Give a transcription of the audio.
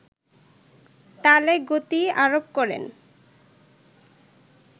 তালে গতি আরোপ করেন